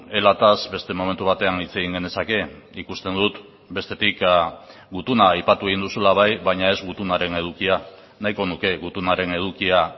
elataz beste momentu batean hitz egin genezake ikusten dut bestetik gutuna aipatu egin duzula bai baina ez gutunaren edukia nahiko nuke gutunaren edukia